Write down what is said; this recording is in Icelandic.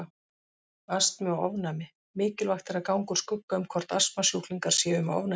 Astmi og ofnæmi Mikilvægt er að ganga úr skugga um hvort astmasjúklingar séu með ofnæmi.